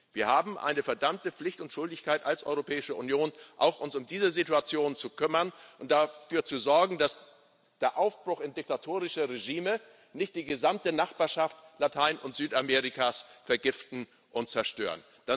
Wir haben eine verdammte Pflicht und Schuldigkeit als Europäische Union, uns auch um diese Situation zu kümmern und dafür zu sorgen, dass der Aufbruch in diktatorische Regime nicht die gesamte Nachbarschaft Latein und Südamerikas vergiftet und zerstört.